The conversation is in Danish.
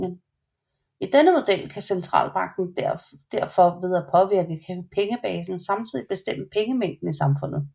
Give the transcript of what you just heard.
I denne model kan centralbanken derfor ved at påvirke pengebasen samtidig bestemme pengemængden i samfundet